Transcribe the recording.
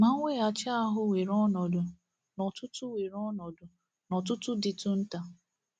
Ma, mweghachi ahụ weere ọnọdụ n’ọ̀tụ̀tụ̀ weere ọnọdụ n’ọ̀tụ̀tụ̀ dịtụ nta.